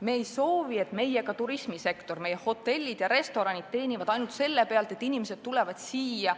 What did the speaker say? Me ei soovi, et meie turismisektor, meie hotellid ja restoranid teenivad ainult selle pealt, et inimesed tulevad siia